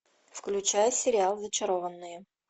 включай сериал зачарованные